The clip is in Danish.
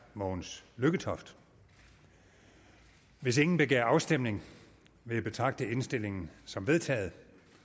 mogens lykketoft hvis ingen begærer afstemning vil jeg betragte indstillingen som vedtaget